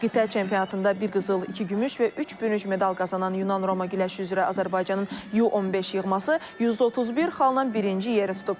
Qitə çempionatında bir qızıl, iki gümüş və üç bürünc medal qazanan Yunan Roma güləşi üzrə Azərbaycanın U-15 yığması 131 xalla birinci yeri tutub.